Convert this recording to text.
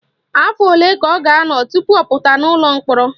Afọ ole ka ọ ga-anọ tupu ọ pụta n'ụlọ mkpọrọ?